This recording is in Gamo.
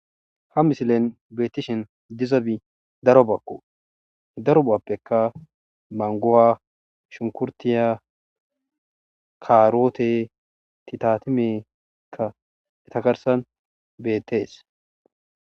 Ha misilen beetishin dizabi darobakko darobappekka mangguwa shunkurtiya kaaroote titatimekka eta garssan bettees